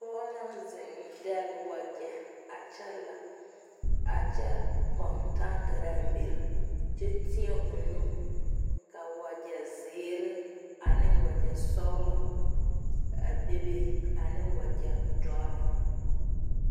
Poge na zeŋ dɛle wagye a kyɛ la. A kyɛ pone tangaraa mir kyɛ teɛ o nu. Ka wagye ziire ane wagye sɔglɔ a bebe ane wagye douro.